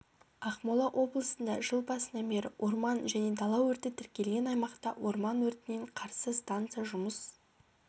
ақмола облысында жыл басынан бері орман және дала өрті тіркелген аймақта орман өртіне қарсы станция жұмыс